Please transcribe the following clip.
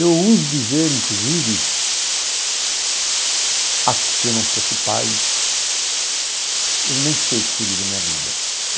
Eu uso dizer, inclusive, acho que se eu não fosse pai, eu nem sei o que seria da minha vida.